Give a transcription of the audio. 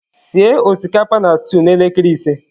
Sie osikapa na stew n'elekere ise.